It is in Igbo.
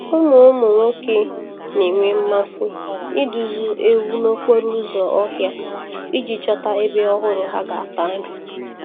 Ụmụ Ụmụ nwoke na-enwe mmasị iduzi ewu n'okporo ụzọ ọhịa iji chọta ebe ọhụrụ ha ga-ata nri.